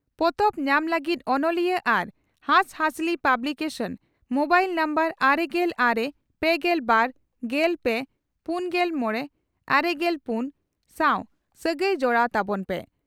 ᱯᱚᱛᱚᱵ ᱧᱟᱢ ᱞᱟᱹᱜᱤᱫ ᱚᱱᱚᱞᱤᱭᱟᱹ ᱟᱨ ᱦᱟᱸᱥᱦᱟᱹᱥᱞᱤ ᱯᱟᱵᱽᱞᱤ ᱠᱮᱥᱚᱱ, (ᱢᱚᱵᱟᱭᱤᱞ ᱱᱟᱢᱵᱟᱨ ᱟᱨᱮᱜᱮᱞ ᱟᱨᱮ ,ᱯᱮᱜᱮᱞ ᱵᱟᱨ ,ᱜᱮᱞ ᱯᱮ ,ᱯᱩᱱᱜᱮᱞ ᱢᱚᱲᱮ ,ᱟᱨᱮᱜᱮᱞ ᱯᱩᱱ ᱥᱟᱶ ᱥᱟᱹᱜᱟᱭ ᱡᱚᱲᱟᱣ ᱛᱟᱵᱚᱱ ᱯᱮ ᱾